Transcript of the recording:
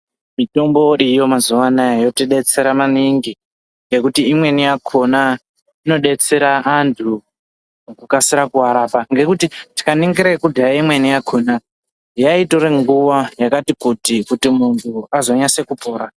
Mitombo iriyo mazuva anaya yobetsera maningi ngekuti imweni yakona inobetsera antu mukukasira kuarapa. Ngekuti tikaningira yekudhaya imweni yakona yaitore nguva yakati kuti, kuti muntu azonyase kupora.